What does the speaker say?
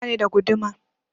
Bani da guduma